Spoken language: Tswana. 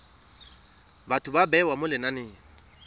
batho ba bewa mo lenaneng